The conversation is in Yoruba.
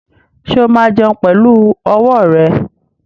Ṣé ó máa jẹun pẹ̀lú ọwọ́ rẹ̀?